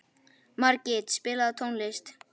Margit, spilaðu tónlist.